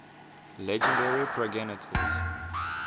legendary progenitors